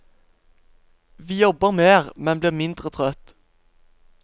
Vi jobber mer, men blir mindre trøtt.